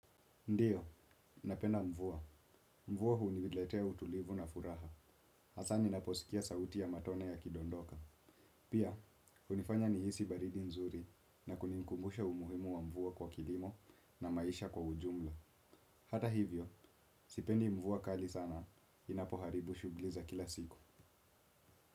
Ndio, napenda mvua. Mvua huniletea utulivu na furaha. Hasa ninaposikia sauti ya matone ya kidondoka. Pia, hunifanya nihisi baridi nzuri na kuninkumbusha umuhimu wa mvua kwa kilimo na maisha kwa ujumla. Hata hivyo, sipendi mvua kali sana. Inapoharibu shughuli za kila siku.